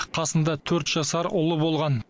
қасында төрт жасар ұлы болған